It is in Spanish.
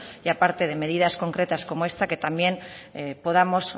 y aparte de medidas concretas como esta que también podamos